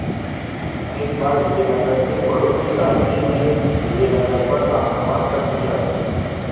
एक बार विजयनगर के पड़ोसी राज्य ने विजयनगर पर आक्रमण कर दिया